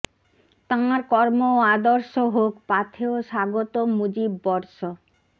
তাঁর কর্ম ও আদর্শ হোক পাথেয় স্বাগত মুজিব বর্ষ